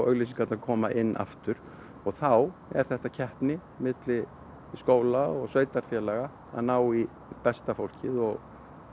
auglýsingarnar koma inn aftur og þá er þetta keppni milli skóla og sveitarfélaga að ná í besta fólkið og